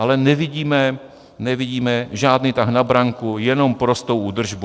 Ale nevidíme žádný tah na branku, jenom prostou údržbu.